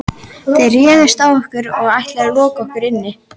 Þið réðust á okkur og ætluðuð að loka okkur inni.